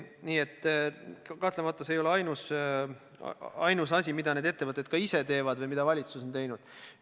Aga jah, kahtlemata see ei ole ainus asi, mida need ettevõtted ise teevad või mida valitsus on teinud.